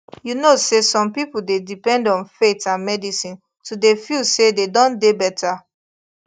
you know say some people dey depend on faith and medicine to dey feel say dey don dey better